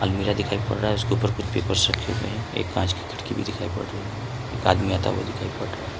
मीरा दिखाई पड़ रहा है उसके ऊपर कुछ पेपर्स रखे हुए हैं एक कांच की खिड़की भी दिखाई पड़ रही है एक आदमी आता हुआ दिखाई पड़ रहा है।